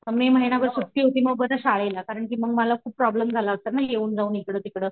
में महिनाभर सुट्टी होती मग बघ शाळेला कारण की मग मला खूप प्रॉब्लम झाला असता ना येऊन जाऊन इकडे तिकडे